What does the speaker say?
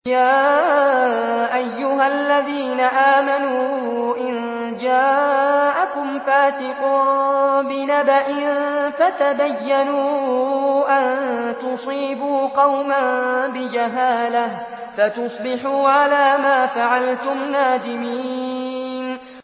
يَا أَيُّهَا الَّذِينَ آمَنُوا إِن جَاءَكُمْ فَاسِقٌ بِنَبَإٍ فَتَبَيَّنُوا أَن تُصِيبُوا قَوْمًا بِجَهَالَةٍ فَتُصْبِحُوا عَلَىٰ مَا فَعَلْتُمْ نَادِمِينَ